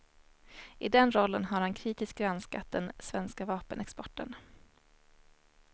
I den rollen har han kritiskt granskat den svenska vapenexporten.